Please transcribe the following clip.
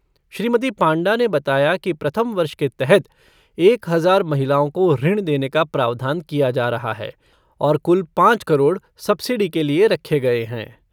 श्रीमती पांडा ने बताया कि प्रथम वर्ष के तहत एक हज़ार महिलाओं को ऋण देने का प्रावधान किया जा रहा है और कुल पाँच करोड़ सबसिडी के लिये रखे गए हैं।